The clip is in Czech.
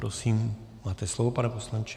Prosím, máte slovo, pane poslanče.